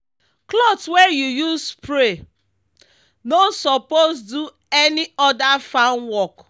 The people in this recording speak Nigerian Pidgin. cloth wey you use spray no suppose do any other farm work.